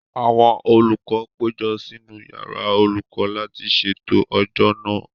Àwọn olùkọ́ péjọ sínú yàrá olùkọ́ láti ṣètò ọjọ́ náà